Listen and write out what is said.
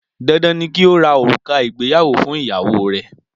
Dandan ni kí o ra òrùka ìgbéyàwó fún ìyàwó rẹ!